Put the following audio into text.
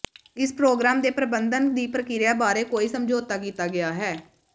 ਇਸ ਪ੍ਰੋਗ੍ਰਾਮ ਦੇ ਪ੍ਰਬੰਧਨ ਦੀ ਪ੍ਰਕਿਰਿਆ ਬਾਰੇ ਕੋਈ ਸਮਝੌਤਾ ਕੀਤਾ ਗਿਆ ਹੈ